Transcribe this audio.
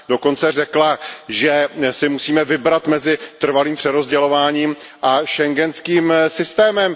Dokonce řekla, že si musíme vybrat mezi trvalým přerozdělováním a schengenským systémem.